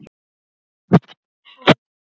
Úr hafinu.